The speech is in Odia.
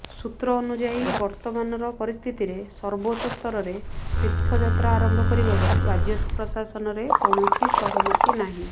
ସୂତ୍ର ଅନୁଯାୟୀ ବର୍ତ୍ତମାନର ପରିସ୍ଥିତିରେ ସର୍ବୋଚ୍ଚ ସ୍ତରରେ ତୀର୍ଥଯାତ୍ରା ଆରମ୍ଭ କରିବାକୁ ରାଜ୍ୟ ପ୍ରଶାସନରେ କୌଣସି ସହମତି ନାହିଁ